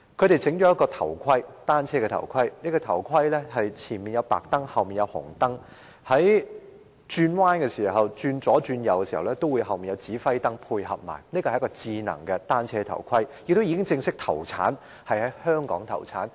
他們發明了一款單車頭盔，前面有白燈，後面有紅燈，在左右轉向時後面也有指揮燈配合，是一個智能單車頭盔，現已正式在香港投產。